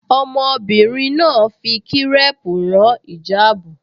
Ọmọbìnrin náà fi kírẹ́ẹ̀pù rán ìjáàbù